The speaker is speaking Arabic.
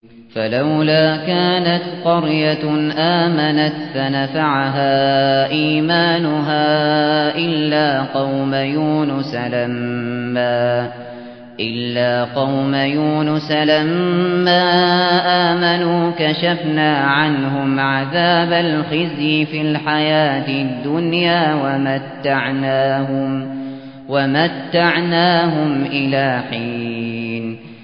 فَلَوْلَا كَانَتْ قَرْيَةٌ آمَنَتْ فَنَفَعَهَا إِيمَانُهَا إِلَّا قَوْمَ يُونُسَ لَمَّا آمَنُوا كَشَفْنَا عَنْهُمْ عَذَابَ الْخِزْيِ فِي الْحَيَاةِ الدُّنْيَا وَمَتَّعْنَاهُمْ إِلَىٰ حِينٍ